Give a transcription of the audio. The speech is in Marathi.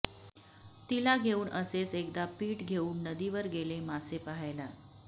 तिला घेऊन असेच एकदा पिठ घेऊन नदीवर गेले मासे पाहायला